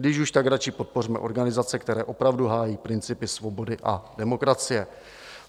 Když už, tak radši podpořme organizace, které opravdu hájí principy svobody a demokracie.